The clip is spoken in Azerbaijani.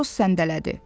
Karus səndələdi.